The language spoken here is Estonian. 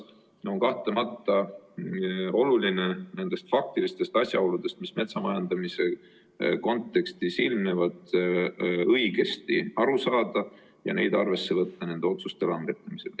Kahtlemata on oluline nendest faktilistest asjaoludest, mis metsamajandamise kontekstis ilmnevad, õigesti aru saada ja neid arvesse võtta nende otsuste langetamisel.